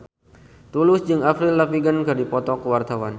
Tulus jeung Avril Lavigne keur dipoto ku wartawan